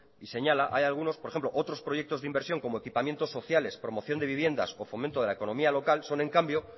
y señala hay algunos por ejemplo otros proyectos de inversión como equipamientos sociales promoción de viviendas o fomento de la economía local son en cambio